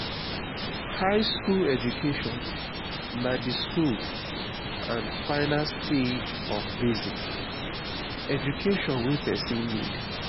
high school education na the school and final stage of basic education wey persin need